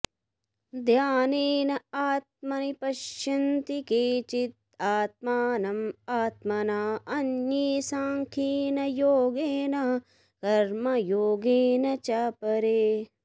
ध्यानेन आत्मनि पश्यन्ति केचित् आत्मानम् आत्मना अन्ये साङ्ख्येन योगेन कर्मयोगेन च अपरे